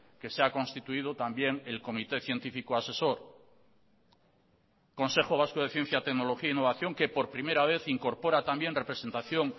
que se ha constituido también el comité científico asesor consejo vasco de ciencia tecnología e innovación que por primera vez incorpora también representación